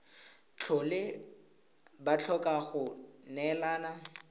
tlhole ba tlhoka go neelana